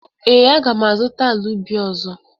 Ee, aga m azụta ala ubi ọzọ.